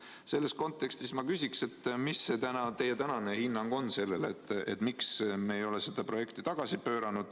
Selles kontekstis ma küsiks, mis on teie tänane hinnang sellele, miks me ei ole seda projekti tagasi pööranud.